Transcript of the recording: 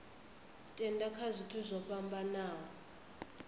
tenda kha zwithu zwo fhambanaho